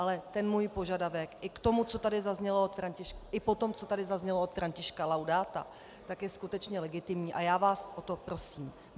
Ale ten můj požadavek, i po tom, co tady zaznělo od Františka Laudáta, tak je skutečně legitimní, a já vás o to prosím.